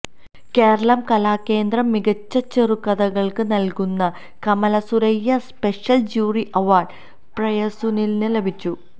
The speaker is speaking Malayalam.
കേരള കലാകേന്ദ്രം മികച്ച ചെറുകഥകള്ക്ക് നല്കുന്ന കമലസുരയ്യ സ്പെഷ്യല് ജൂറി അവാര്ഡ് പ്രിയസുനിലിന് ലഭിച്ചു